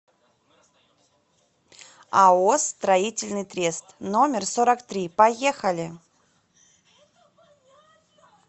ао строительный трест номер сорок три поехали